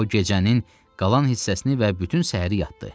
O, gecənin qalan hissəsini və bütün səhəri yatdı.